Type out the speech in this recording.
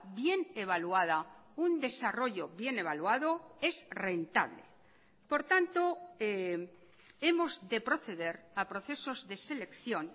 bien evaluada un desarrollo bien evaluado es rentable por tanto hemos de proceder a procesos de selección